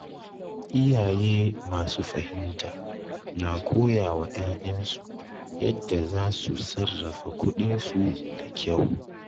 Iyaye masu fahimta na koya wa ‘ya’yansu yadda za su sarrafa kuɗinsu da kyau.